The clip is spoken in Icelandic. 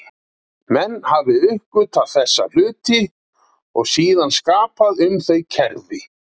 Menn hafi uppgötvað þessa hluti og síðan skapað um þau kerfi.